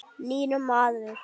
Nýr maður.